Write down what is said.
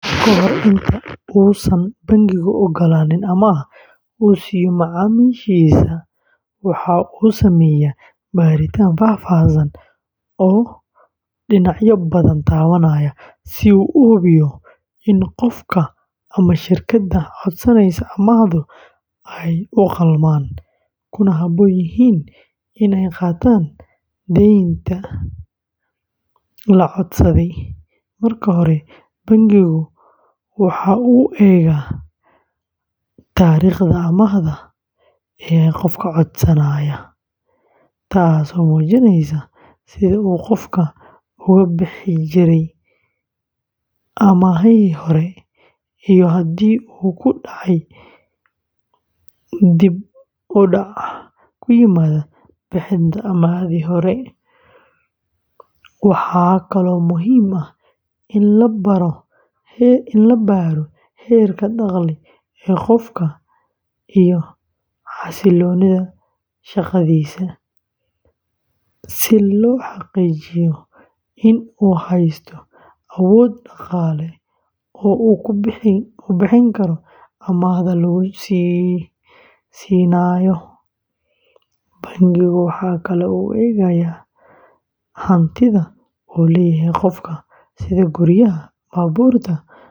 Ka hor inta uusan bangigu oggolaanin amaah uu siiyo macaamiishiisa, waxa uu sameeyaa baaritaan faahfaahsan oo dhinacyo badan taabanaya si uu u hubiyo in qofka ama shirkadda codsanaysa amaahdu ay u qalmaan, kuna habboon yihiin in ay qaataan deynta la codsaday. Marka hore, bangigu waxa uu eegaa taariikhda amaahda ee qofka codsanaya, taasoo muujinaysa sida uu qofku uga bixi jiray amaahihii hore iyo haddii uu ku dhacay dib-u-dhac ku yimaada bixinta amaahdii hore. Waxaa kaloo muhiim ah in la baaro heerka dakhli ee qofka iyo xasilloonida shaqadiisa, si loo xaqiijiyo in uu haysto awood dhaqaale oo uu ku bixin karo amaahda lagu siinayo. Bangigu waxa kale oo uu eegaa hantida uu leeyahay qofka, sida guryaha, baabuurta ama kaydka bangiga.